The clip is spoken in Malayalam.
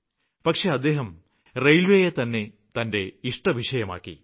പക്ഷേ അദ്ദേഹം റെയില്വേയെത്തന്നെ തന്റെ ഇഷ്ടവിഷയമാക്കി